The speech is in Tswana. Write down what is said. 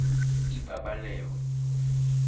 ipabaleo